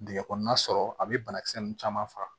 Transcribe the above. Dingɛ kɔnɔna sɔrɔ a bɛ banakisɛ ninnu caman faga